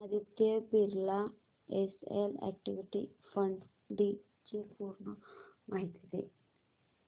Aditya Birla SL equity fund D ची पूर्ण माहिती दे